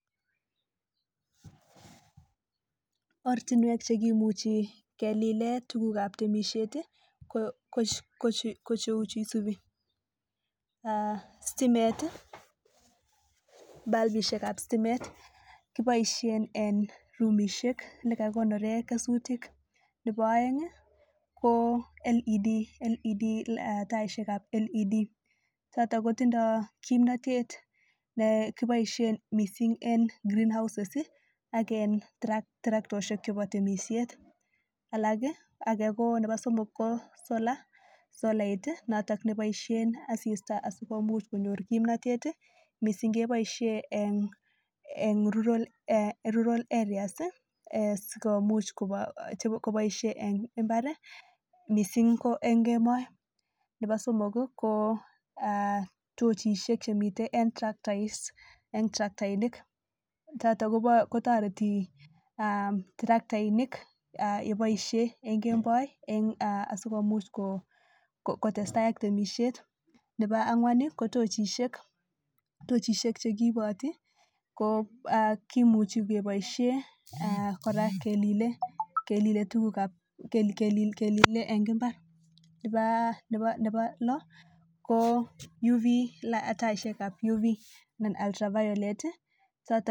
Oratinwek chekimuchi kelilen tuguk ab temishet kocheu Chu isubi stimet balbishek ab sitimet kibaishen en rumishek nekakikonoren kesutik Nebo aeng ko led ko taishek ab led choton koitindoi kimnatet NEkibaishen mising en green house agent traktoshiek chebo temishet alak ko Nebo somok ko sola noton nebaishen asista asigomuch konyor kimnatet mising kebaishen en rural areas sikomuch kobaishen en imbar mising ko en kemout Nebo somok ko tochishek Chemiten traktas is choton kotareti traktainik kebaishen en keboin asigomuch KO kotestai ak temishet Nebo angwan KO tochishek chekiiboti ko kimuche kebaishen koraa kelilen tuguk ab kelinet Eng imbar Nebo lo ko Yu bi taishek ab yubi ak alter violet